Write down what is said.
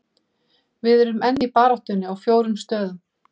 Við erum enn í baráttunni á fjórum stöðum.